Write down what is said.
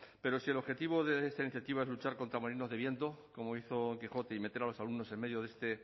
pero si el objetivo de esta iniciativa es luchar contra molinos de viento como hizo el quijote y meter a los alumnos en medio